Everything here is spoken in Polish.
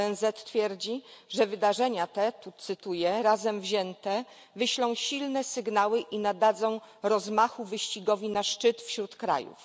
ONZ twierdzi, że wydarzenia te tu cytuję razem wzięte wyślą silne sygnały i nadadzą rozmachu wyścigowi na szczyt wśród krajów.